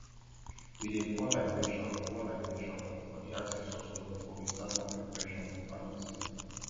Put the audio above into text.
we dey pour libration pour libration for the ancestor stone before we start land preparation for farming season